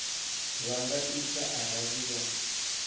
vha nga ita arali vha